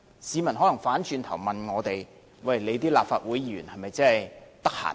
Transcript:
市民可能反過來問我們，立法會議員是否很空閒。